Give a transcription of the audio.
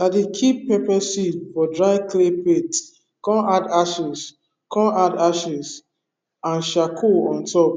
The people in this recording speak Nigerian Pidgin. i dey keep pepper seed for dry clay plate come add ashes come add ashes and charcoal on top